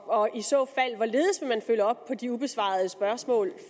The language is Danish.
og i så fald hvorledes vil man følge op på de ubesvarede spørgsmål